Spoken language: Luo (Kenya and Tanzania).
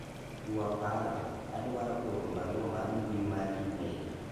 ywa paro, adwaro oro barua mar mbui mar email